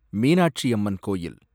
மீனாட்சியம்மன் கோயில்